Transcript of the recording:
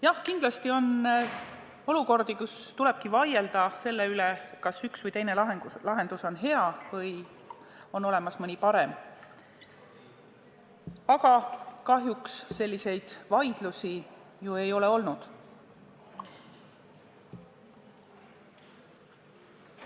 Jah, kindlasti on olukordi, kus tuleb vaielda selle üle, kas üks või teine lahendus on hea või on olemas mõni parem, aga kahjuks selliseid vaidlusi ei ole olnud.